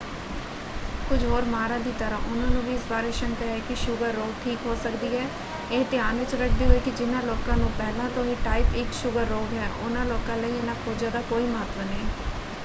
ਕੁਝ ਹੋਰ ਮਾਹਰਾਂ ਦੀ ਤਰ੍ਹਾਂ ਉਹਨਾਂ ਨੂੰ ਵੀ ਇਸ ਬਾਰੇ ਸ਼ੰਕਾ ਹੈ ਕਿ ਕੀ ਸ਼ੂਗਰ ਰੋਗ ਠੀਕ ਹੋ ਸਕਦੀ ਹੈ ਇਹ ਧਿਆਨ ਵਿੱਚ ਰੱਖਦੇ ਹੋਏ ਕਿ ਜਿਨ੍ਹਾਂ ਲੋਕਾਂ ਨੂੰ ਪਹਿਲਾਂ ਤੋਂ ਹੀ ਟਾਈਪ 1 ਸ਼ੂਗਰ ਰੋਗ ਹੈ ਉਹਨਾਂ ਲੋਕਾਂ ਲਈ ਇਹਨਾਂ ਖੋਜਾਂ ਦਾ ਕੋਈ ਮਹੱਤਵ ਨਹੀਂ।